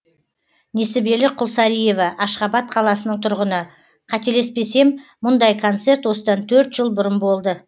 несібелі құлсариева ашхабад қаласының тұрғыны қателеспесем мұндай концерт осыдан төрт жыл бұрын болды